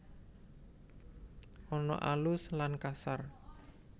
Ana alus lan kasar